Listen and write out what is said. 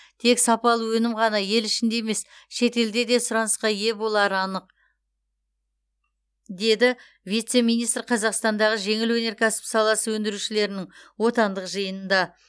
тек сапалы өнім ғана ел ішінде емес шетелде де сұранысқа ие болары анық деді вице министр қазақстандағы жеңіл өнеркәсіп саласы өндірушілерінің отандық жиынында